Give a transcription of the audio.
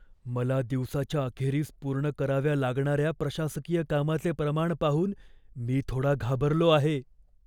मला दिवसाच्या अखेरीस पूर्ण कराव्या लागणाऱ्या प्रशासकीय कामाचे प्रमाण पाहून मी थोडा घाबरलो आहे.